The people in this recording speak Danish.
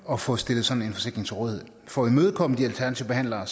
at få stillet sådan en forsikring til rådighed for at imødekomme de alternative behandlere